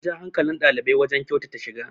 an ja hankalin ɗalibai wajen kyautata shiga